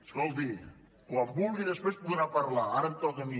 escolti quan vulgui després podrà parlar ara em toca a mi